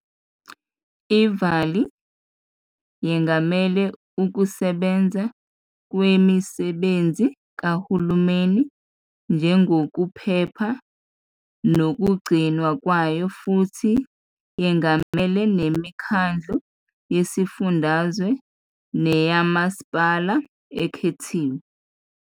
I-Vali yengamela ukusebenza kwemisebenzi kahulumeni njengokuphepha nokugcinwa kwayo futhi yengamela nemikhandlu yesifundazwe neyomasipala ekhethiwe.